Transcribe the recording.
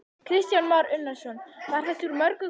Kristján Már Unnarsson: Var þetta úr mörgum köstum?